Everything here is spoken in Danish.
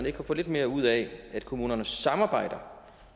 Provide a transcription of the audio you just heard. ikke kan få lidt mere ud af at kommunerne samarbejder